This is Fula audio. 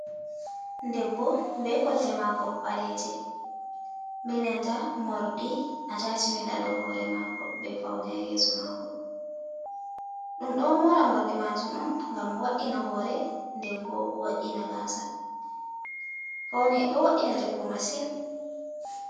Debbo be kolte mako baleje be nanta mordi a tachimen ha do hore mako be fauna haa yeso mako. Ɗum ɗo mora majum on ngam wo'ina hore nden bo wo'ina gasa. Paune ɗo wo'ina rewbo masin